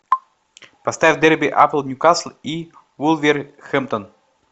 поставь дерби апл ньюкасл и вулверхэмптон